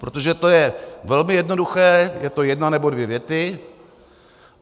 Protože to je velmi jednoduché, je to jedna nebo dvě věty.